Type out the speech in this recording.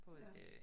Ja